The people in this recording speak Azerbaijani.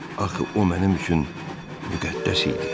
Axı o mənim üçün müqəddəs idi.